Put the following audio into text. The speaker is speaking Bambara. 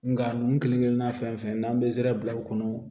Nga ninnu kelen kelenna fɛn fɛn n'an bɛ zɛrɛ bila u kɔnɔ